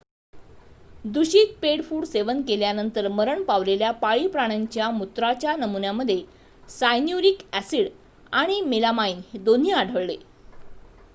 दूषित pet food सेवन केल्यानंतर मरण पावलेल्या पाळीव प्राण्यांच्या मूत्राच्या नमुन्यांमध्ये सायन्यूरिक ॲसिड आणि मेलामाइन दोन्ही आढळले